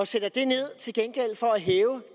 sætter det ned til gengæld for at hæve